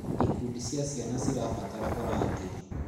Ikundi cia ciana cirabatara ũrangĩri.